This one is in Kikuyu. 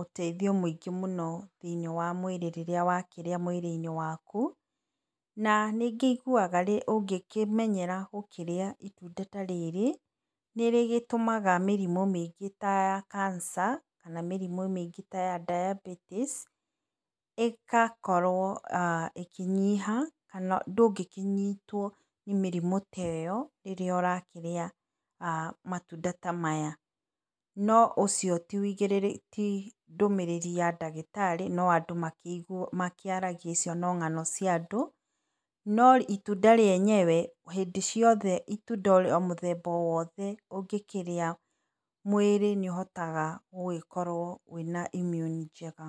ũteithio mũingĩ mũno thĩiniĩ wa mwĩrĩ rĩrĩa wakĩrĩa mwĩrĩ -inĩ waku. Na nĩngĩigua ũngĩkĩmenyera gũkĩrĩa itunda ta rĩrĩ, nĩrĩgĩtũmaga kĩrimũ mĩingĩ ta ya cancer, kana mĩrimũ mĩingĩ ta ya diabeties ĩgakorwo ĩkĩnyiha kana ndũngĩkĩnyitwo nĩ mĩrimũ teo, rĩrĩa ũrakĩrĩa matunda ta maya. No ũcio ti ndũmĩrĩri ya dagĩtarĩ no andũ makĩaragia no ng'ano cia andũ, no itunda rĩenyewe hĩndĩ ciothe o itunda mũthemba o wothe ũngĩkĩrĩa, mwĩrĩ nĩ ũhotaga gũkorwo wĩna immune njega.